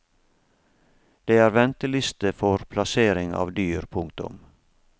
Det er venteliste for plassering av dyr. punktum